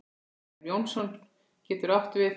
Grímur Jónsson getur átt við